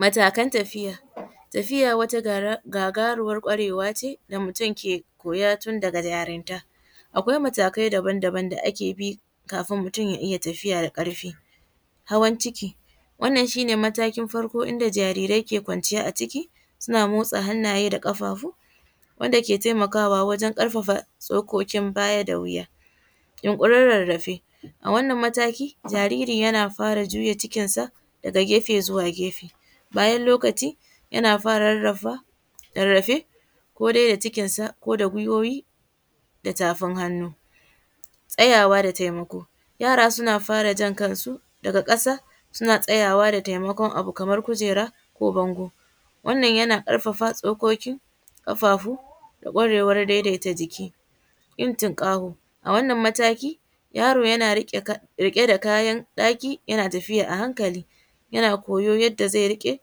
Matakan tafiya, tafiya wata gagaruwar gwarewa ce da mutum ke koya tun daga yarinta, akwai matakai daban-daban da ake bi kafin mutum ya iya tafiya da karfi, hawan ci wannan shi ne na farko inda zarirai ke kwanciya a ciki suna motas hanaye da kafafu wanda ke taimakawa wajen karfafa tsokokin baya da wiya, yin kurin rarrafe a wannan mataki jariri yana fara juya cikinsa daga gefe zuwa gefe bayan lokaci yana fara rarrafa rarrafe ko dai da cikinsa ko da gwiwuwi ta tafin hannu, tsayawa da taimako yara suna fara jan kansu daga kasa suna tsaya da taimakon abu kamar kujera ko bango wannan yana karfafa tsokokin kafafu da kwarewan daidaita jiki, yin tukankaho a wannan mataki yaro yana rike da kayan ɗaki yana tafiya a hankali yana koyo yadda zai rike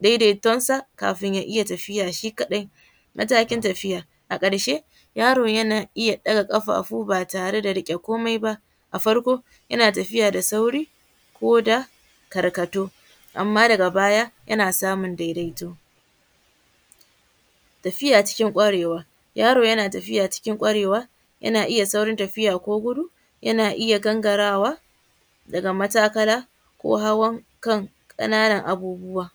daidaituwar sa kafin ya iya tafiya shi kadai, matakin tafiya a karshe yaro yana iya ɗaga kafafu ba tare da rike komai ba a farko yana tafiya da sauri koda karkarto amma daga baya yana samun daidaito, tafiya cikin kwarewa yaro yana tafiya cikin kwarewa yana iya saurin tafiya ko gudu yana iya gangarawa daga matakala ko hawan kan kananan abubuwa.